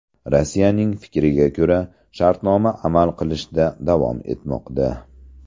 Rossiyaning fikriga ko‘ra, shartnoma amal qilishda davom etmoqda.